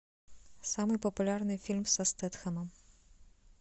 самый популярный фильм со стэтхэмом